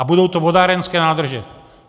A budou to vodárenské nádrže.